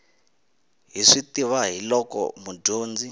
hi swi tiva hiolko mudyondzi